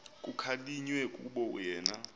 kukhalinywe kukuba yena